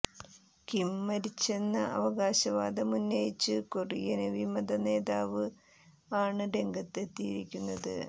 Kim മരിച്ചെന്ന അവകാശവാദമുന്നയിച്ച് Korean വിമത നേതാവ് ആണ് രംഗത്ത് എത്തിയിരിക്കുന്നത്